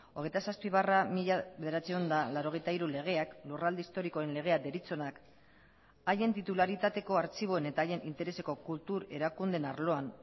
hogeita zazpi barra mila bederatziehun eta laurogeita hiru legeak lurralde historikoen legea deritzonak haien titularitateko artxiboen eta haien intereseko kultur erakundeen arloan